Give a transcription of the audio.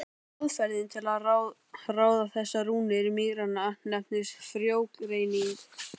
Aðferðin til að ráða þessar rúnir mýranna nefnist frjógreining.